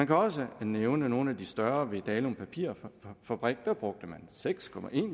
kan også nævne nogle af de større ved dalum papirfabrik hvor man brugte seks